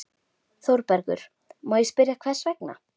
ÞÓRBERGUR: Má ég spyrja hvers vegna?